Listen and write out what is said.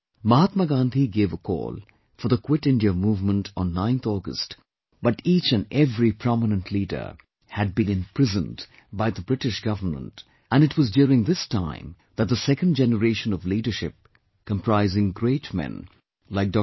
Mahatma Gandhi gave a call for the 'Quit India Movement' on 9th August, but each and every prominent leader had been imprisoned by the British Government, and it was during this time that the second generation of leadership comprising great men like Dr